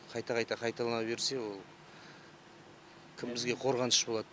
қайта қайта қайталана берсе ол кім бізге қорғаныш болады